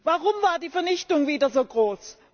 Warum war die Vernichtung wieder so groß?